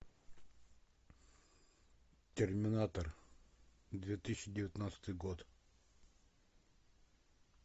терминатор две тысячи девятнадцатый год